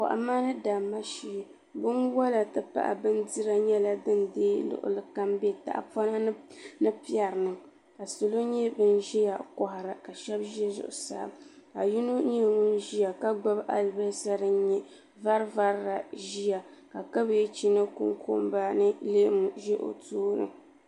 Kohamma ni damma shee binwola ti pahi bindira nyɛla din deegi luɣuli kam m be tahapoŋni ni pɛri ni salo nyɛ bin ʒia kohara ka sheba ʒɛ zuɣusaa ka yino nyɛ ŋun ʒia ka gbibi alibasa fin nyɛ vari varila ʒia ka kabaji ni kunkumba ni leemu ʒi o tooni.